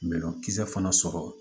Bɛlɔnkisɛ fana sɔrɔ